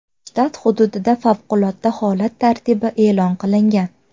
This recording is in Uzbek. Shtat hududida favqulodda holat tartibi e’lon qilingan.